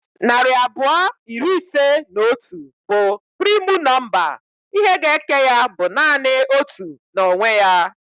Narị abụọ iri ise na otu bụ primu nọmba. Ihe ga eke ya bụ nanị otu na onwe ya